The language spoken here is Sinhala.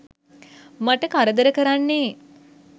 මට කරදර කරන්නේ.